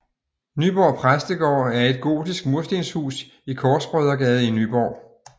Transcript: Nyborg Præstegård er et gotisk murstenhus i Korsbrødregade i Nyborg